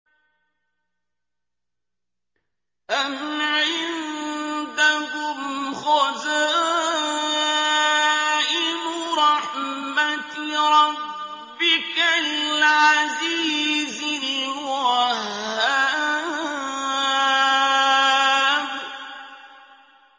أَمْ عِندَهُمْ خَزَائِنُ رَحْمَةِ رَبِّكَ الْعَزِيزِ الْوَهَّابِ